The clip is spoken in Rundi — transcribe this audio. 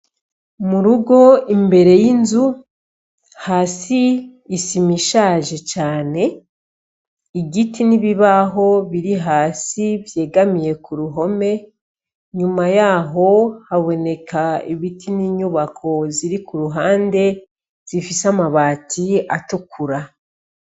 Mu rugo imbere y'inzu, hari musi isima ishaje cane, igiti n'ibibaho biri hasi vyegamiye ku ruhome, nyuma yaho haboneka ibiti n'inyubako ziri kuruhande zifise amabati atukura.